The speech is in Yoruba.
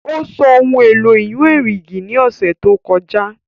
Ó sọ ohun èlò ìyún erìgì ní ọ̀sẹ̀ tó kọjá